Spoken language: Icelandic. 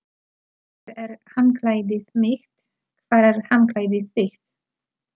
Hér er handklæðið mitt. Hvar er handklæðið þitt?